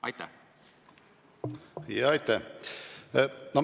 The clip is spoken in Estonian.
Aitäh!